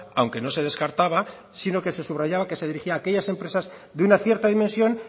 aunque no se descartaba sino que se subrayaba que se dirigía a aquellas empresas de una cierta dimensión